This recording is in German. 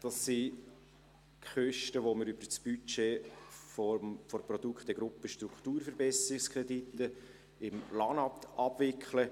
Das sind Kosten, die wir über das Budget der Produktegruppe Strukturverbesserungskredite des LANAT abwickeln.